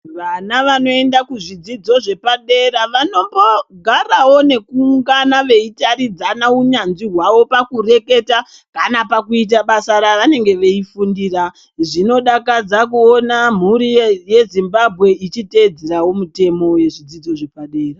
Vana vanoenda kuzvidzidzo zvepadera vanombogarawo nekuungana veitaridzana unyanzvi hwawo pakureketa kana pakuita basa ravanenge veifundira. Zvinodakadza kuona mhuri yeZimbabwe ichiteedzerawo mutemo yezvidzidzo zvepadera.